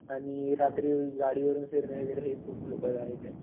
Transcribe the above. आणि रात्री गाडीवरून फिरणे हे खूप धोकादायक आहे.